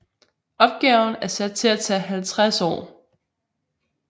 Opgaven er sat til at tage 50 år